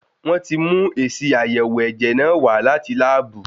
Wọ́n ti mú èsì àyẹ̀wò ẹ̀jẹ̀ náà wá láti láàbù.